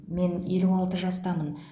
мен елу алты жастамын